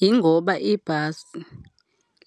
Yingoba ibhasi,